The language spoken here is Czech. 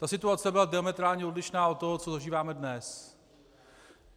Ta situace byla diametrálně odlišná od toho, co zažíváme dnes.